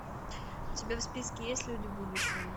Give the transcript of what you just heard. у тебя в списке есть люди будущего